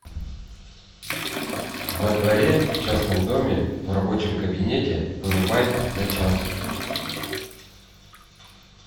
во дворе в частном доме в рабочем кабинете вырубай на час